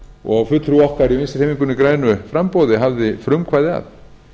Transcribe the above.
og fulltrúi okkar í vinstri hreyfingunni grænu framboði hafði frumkvæði að